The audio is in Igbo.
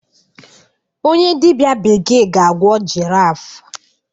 onye dibịa bekee ga-agwọ giraffe